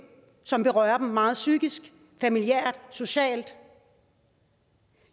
som berører dem meget psykisk familiært og socialt